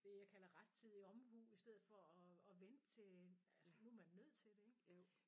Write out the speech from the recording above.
Det jeg kalder rettidig omhu i stedet for at at vente til altså nu man nødt til det ik